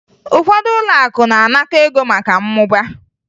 Ụfọdụ ụlọakụ na-anakọ ego maka mmụba